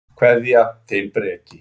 Kveðja, þinn Breki.